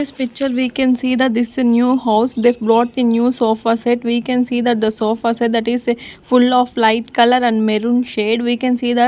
this picture we can see the this a new house they brought a new sofa set we can see that the sofa set that is a full of light colour and maroon shade we can see that --